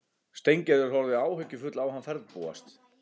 Steingerður horfði áhyggjufull á hann ferðbúast.